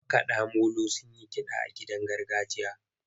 Makaɗa molo sun yi kiɗa a gidan magajiya.